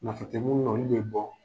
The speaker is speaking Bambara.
Nafa te munnu na olu be bɔ.